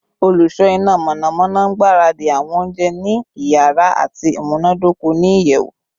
Oluso ina mọnamọna ngbaradi awọn ounjẹ ni iyara ati imunadoko ni iyẹwu